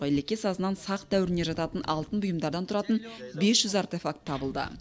елеке сазынан сақ дәуіріне жататын алтын бұйымдардан тұратын бес жүз артефакт табылды